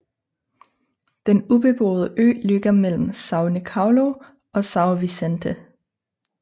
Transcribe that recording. Den ubeboede ø ligger mellem São Nicolau og São Vicente